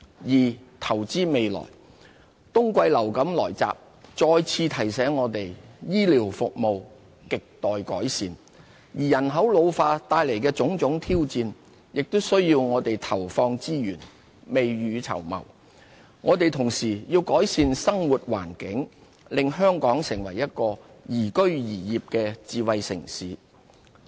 二投資未來。冬季流感來襲再次提醒我們醫療服務亟待改善，而人口老化帶來的種種挑戰，也需我們投放資源，未雨綢繆。我們同時要改善生活環境，令香港成為一個宜居宜業的智慧城市。